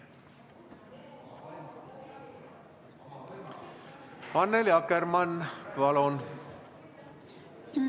Annely Akkermann, palun!